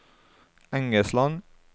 Engesland